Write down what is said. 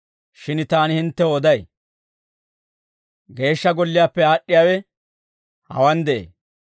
Shin taani hinttew oday; Geeshsha Golliyaappe aad'd'iyaawe hawaan de'ee.